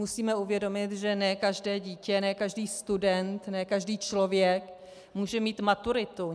Musíme uvědomit, že ne každé dítě, ne každý student, ne každý člověk může mít maturitu.